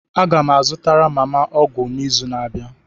Aga m azụtara mama m ọgwụ n'izu na-abịa